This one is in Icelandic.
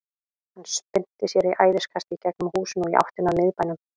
Hann spyrnti sér í æðiskasti í gegnum húsin og í áttina að miðbænum.